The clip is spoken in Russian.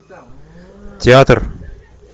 театр